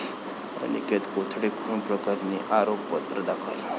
अनिकेत कोथळे खून प्रकरणी आरोपपत्र दाखल